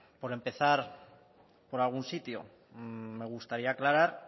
por empezar por algún sitio me gustaría aclarar